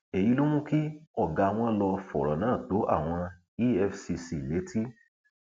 èyí ló mú kí ọgá wọn lọọ fọrọ náà tó àwọn efcc létí